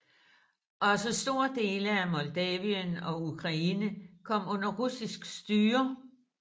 Også store dele af Moldavien og Ukraine kom under russisk styre